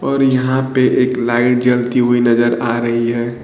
और यहां पे एक लाइट जलती हुई नजर आ रही है।